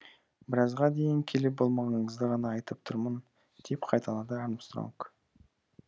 біразға дейін келіп болмағаныңызды ғана айтып тұрмын деп қайталады армстронг